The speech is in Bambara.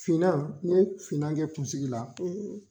Finan ni ye finan kɛ i kungolo la.